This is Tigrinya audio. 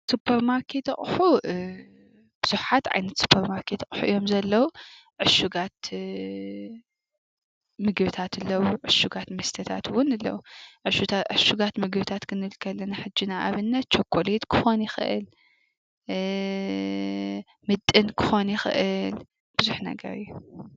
ሱፐርማርኬት አቑሑ ብዙሓት ዓይነት ሱፐርማርኬት አቑሑ እዮም ዘለዉ ዑሽጋት ምግብታት አለዉ፣ ዑሽጋት መስተታት ዉን አለዉ። ዕሹጋት ምግብታት ክንብል ከለና ሕጂ ንኣብነት ቸኮሌት ክኾን ይኽእል ፣ምጥን ክኾን ይኽእል ብዙሕ ነገር እዪ ።